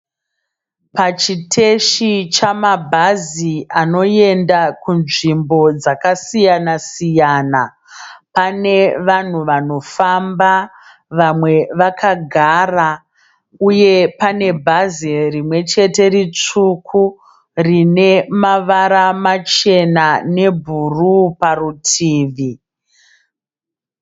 Pachiteshi chamabhazi anoenda kunzvimbo dzakasiyana siyana. Pane vanhu vanofamba vamwe vakagara uye pane bhazi rimwe chete ritsvuku rine mavara machena nebhuru parutivi.